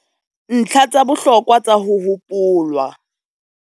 NTLHA TSA BOHLOKWA TSA HO HOPOLWA